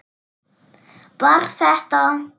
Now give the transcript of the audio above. Var þetta.?